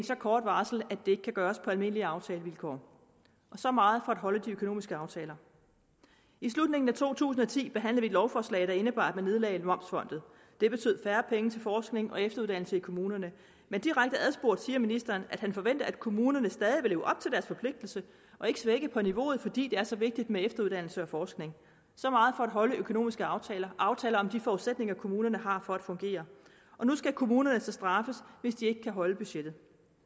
så kort varsel at det ikke kan gøres på almindelige aftalevilkår så meget for at holde de økonomiske aftaler i slutningen af to tusind og ti behandlede vi et lovforslag der indebar at man nedlagde momsfondet det betød færre penge til forskning og efteruddannelse i kommunerne men direkte adspurgt siger ministeren at han forventer at kommunerne stadig vil forpligtelse og ikke svække på niveauet fordi det er så vigtigt med efteruddannelse og forskning så meget for at holde økonomiske aftaler aftaler om de forudsætninger kommunerne har for at fungere og nu skal kommunerne så straffes hvis de ikke kan holde budgettet